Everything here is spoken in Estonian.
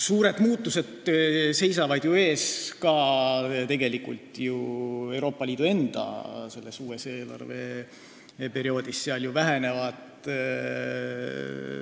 Suured muutused seisavad uuel eelarveperioodil ees ka Euroopa Liidus endas.